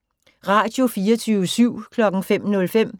Radio24syv